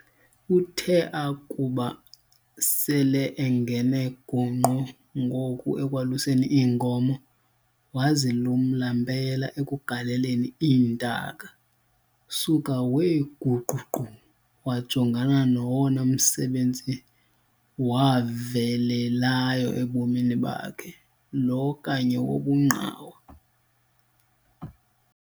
Uthe akuba sel'engene gongqo ngoku ekwaluseni iinkomo, wazilumla mpela ekugaleleni iintaka, suka wee guququ, wajongana nowona msebenzi wavelelayo ebomini bakhe, lo kanye wobungqawa.